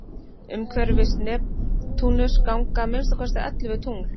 umhverfis neptúnus ganga að minnsta kosti ellefu tungl